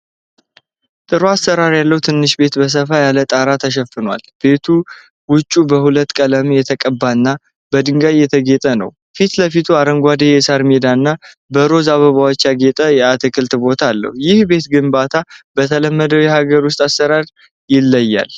ጥሩ አሠራር ያለው ትንሽ ቤት በሰፋ ያለ ጣራ ተሸፍኗል። ቤቱ ውጭው በሁለት ቀለም የተቀባና በድንጋይ የተጌጠ ነው። ፊት ለፊቱ አረንጓዴ የሣር ሜዳና በሮዝ አበባዎች ያጌጠ የአትክልት ቦታ አለው። የዚህ ቤት ግንባታ በተለመደው የሀገር ውስጥ አሠራር ይለያል?